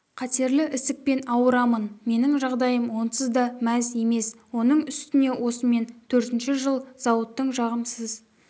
қатерлі ісікпен ауырамын менің жағдайым онсыз да мәз емес оның үстіне осымен төртінші жыл зауыттың жағымсыз